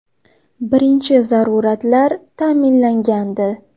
Birinchi zaruratlar ta’minlangandi.